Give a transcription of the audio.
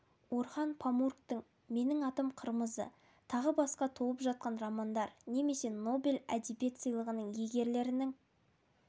орхан памуктің менің атым қырмызы тағы басқа толып жатқан романдар немесе нобель әдебиет сыйылғының иегерлерінің